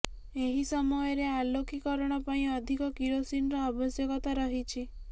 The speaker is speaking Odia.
ଏହି ସମୟରେ ଆଲୋକୀକରଣ ପାଇଁ ଅଧିକ କିରୋସିନର ଆବଶ୍ୟକତା ରହିଛି